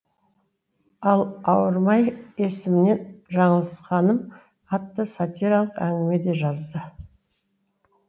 ал ауырмай есімнен жалысқаным атты сатиралық әңгіме де жазды